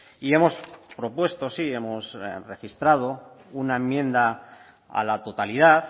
y hemos propuesto sí hemos registrado una enmienda a la totalidad